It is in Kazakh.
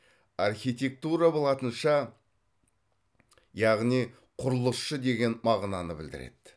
архитектура латынша яғни құрылысшы деген мағынаны білдіреді